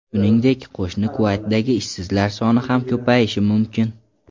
Shuningdek, qo‘shni Kuvaytdagi ishsizlar soni ham ko‘payishi mumkin.